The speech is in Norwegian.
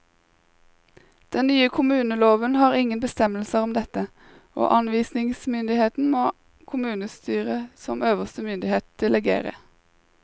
Den nye kommuneloven har ingen bestemmelser om dette, og anvisningsmyndigheten må kommunestyret som øverste myndighet delegere.